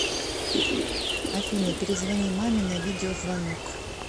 афина перезвони маме на видеозвонок